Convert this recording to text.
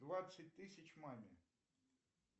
двадцать тысяч маме